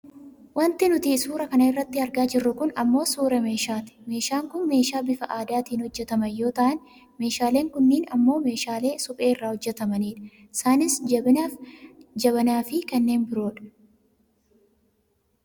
Wanti nuti suuraa kana irratti argaa jirru kun ammoo suuraa meeshaati. Meeshaan kun meeshaa bifa aadaatiin hojjataman yoo ta'an, meeshaaleen kunniin ammoo meeshaalee suphee irraa hojjatamani dha. Isaanis jabanaafi kanneen biroodha.